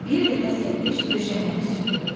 Bir dəfə Səbiş döşəməni süpürdü.